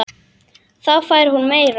Þá fær hún meira.